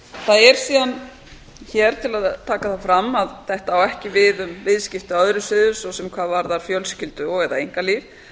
það er síðan hér til að taka það fram að þetta á ekki við um viðskipti á öðrum sviðum svo sem hvað varðar fjölskyldu og eða einkalíf